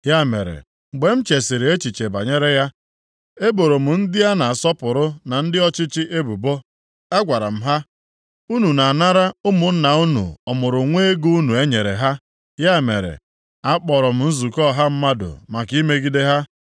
Ya mere, mgbe m chesiri echiche banyere ya, e boro m ndị a na-asọpụrụ na ndị ọchịchị ebubo. A gwara m ha, “Unu na-anara ụmụnna unu ọmụrụnwa ego unu enyere ha.” Ya mere, a kpọrọ m nzukọ ọha mmadụ maka imegide ha.